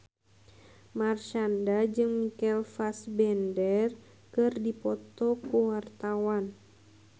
Marshanda jeung Michael Fassbender keur dipoto ku wartawan